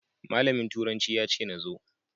Malamin turanci ya ce na zo.